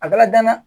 A bala danna